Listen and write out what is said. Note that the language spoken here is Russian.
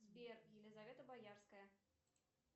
сбер елизавета боярская